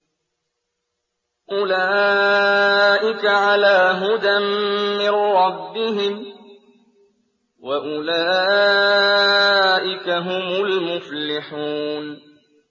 أُولَٰئِكَ عَلَىٰ هُدًى مِّن رَّبِّهِمْ ۖ وَأُولَٰئِكَ هُمُ الْمُفْلِحُونَ